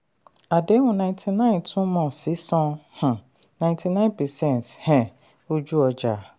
àdéhùn ninety nine túmọ̀ sí san um ninety nine percent um ojú-ọjà.